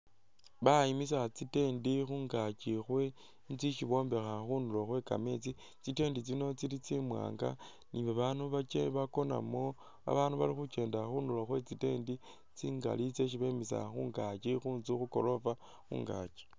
Bayimisa tsi tent khungaaki khwe inzu isi bombekha khundulo khwe kameetsi, tsi tent tsino tsili tsimwanga ni babanu bakye bakonamo ,babandu bali khukyendela khundulo khwe tsi tent tsingali tsyesi bemisa khungaaki khunzu khugoroofa khungaaki